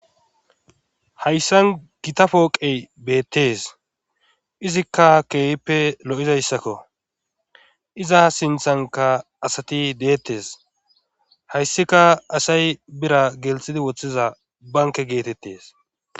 hayssan gita pooqey beettes izikka keeyppe lo7izayssakko iza sinthanka asati deettes hayssika asay bira gelthidi woththiza banke geetettes